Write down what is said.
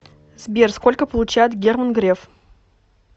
сбер сколько получает герман греф